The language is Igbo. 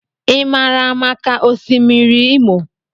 I maara maka Osimiri Imo.